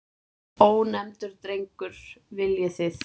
Ónefndur drengur: Viljið þið?